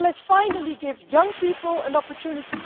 Let's finally give young people an opportunity.